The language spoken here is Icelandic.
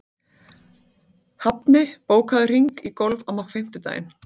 Hafni, bókaðu hring í golf á fimmtudaginn.